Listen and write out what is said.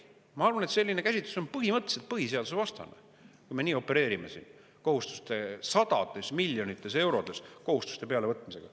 Ma arvan, et selline käsitlus on põhimõtteliselt põhiseadusevastane, kui me nii opereerime sadades miljonites eurodes kohustuste pealevõtmisega.